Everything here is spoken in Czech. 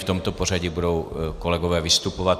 V tomto pořadí budou kolegové vystupovat.